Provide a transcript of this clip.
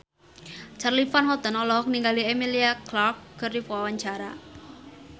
Charly Van Houten olohok ningali Emilia Clarke keur diwawancara